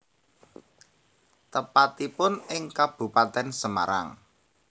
Tepatipun ing Kabupaten Semarang